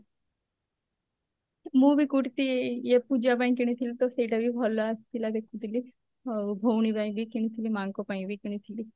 ମୁଁ ବି kurti ଇଏ ପୂଜା ପାଇଁ କିଣିଥିଲି ତ ସେଇଟା ବି ଭଲ ଆସିଥିଲା ଦେଖୁଥିଲି ଆଉ ଭଉଣୀ ପାଇଁ ବି କିଣିଥିଲି ମାଆଙ୍କ ପାଇଁ ବି କିଣିଥିଲି